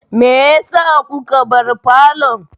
Meyasa kuka bar falon?